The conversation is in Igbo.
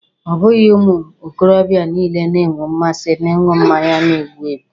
Ọ bụghị ụmụ okorobịa niile na-enwe mmasị n'ịṅụ mmanya na-ebu ebu.